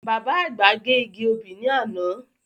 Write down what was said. Bàbá àgbà gé igi obì ní àná.